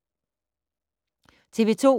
TV 2